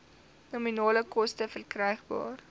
nominale koste verkrygbaar